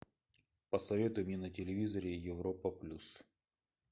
посоветуй мне на телевизоре европа плюс